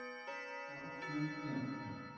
Já, já, já, já.